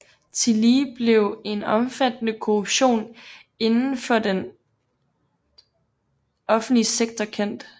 Tillige blev en omfattende korruption inden for den offentlige sektor kendt